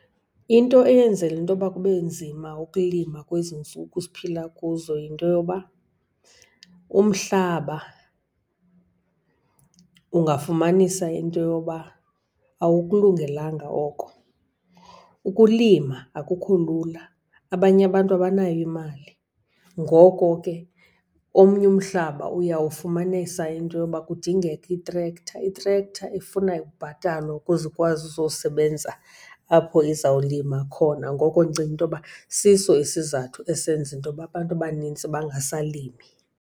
Into eyenzela intoba kube nzima ukulima kwezi ntsuku siphila kuzo yinto yoba umhlaba, ungafumanisa into yoba awukulungelanga oko. Ukulima akukho lula, abanye abantu abanayo imali. Ngoko ke omnye umhlaba uyawufumanisa into yoba kudingeka i-tractor. I-tractor ifuna ukubhatalwa ukuze ikwazi uzosebenza apho uzawulima khona. Ngoko ndicinga intoba siso isizathu esenza intoba abantu abanintsi bangasalimi.